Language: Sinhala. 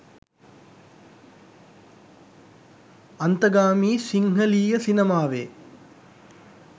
අන්තගාමී සිංහලීය සිනමාවේ